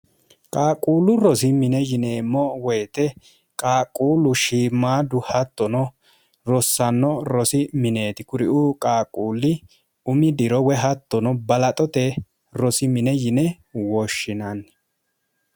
qaaquullu rosi mine yineemmo woyite qaaquullu shiimaadu hattono rossanno rosi mineeti kuriu qaaquulli umi diro we hattono balaxote rosi mine yine woshshinanni